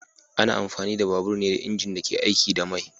Ana amfani da babur ne da injin da ke aiki da mai